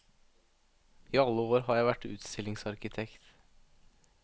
I alle år har jeg vært utstillingsarkitekt.